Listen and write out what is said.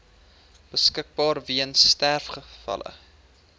beskikbaar weens sterfgevalle